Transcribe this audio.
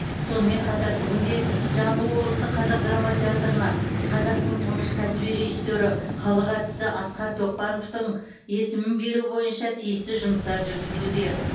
сонымен қатар бүгінде жамбыл облыстық қазақ драма театрына қазақтың тұңғыш кәсіби режиссері халық әртісі асқар тоқпановтың есімін беру бойынша тиісті жұмыстар жүргізілуде